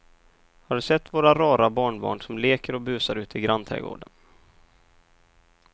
Har du sett våra rara barnbarn som leker och busar ute i grannträdgården!